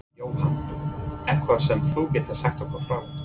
Jóhann: Eitthvað sem þú getur sagt okkur frá?